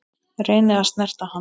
Reyni að snerta hann.